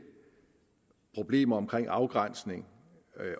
problemer omkring afgrænsning